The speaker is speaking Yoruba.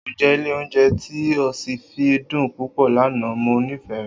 oúnjẹ ilé oúnjẹ tí ọ́sìfì dùn púpọ̀ lana, mo nifẹ rẹ